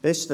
Besten